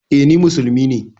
E, ni musulmi ne.